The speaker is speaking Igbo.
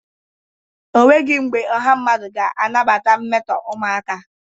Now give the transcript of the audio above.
O nwegi mbe ọha mmadụ ga-anabata mmeto umụaka.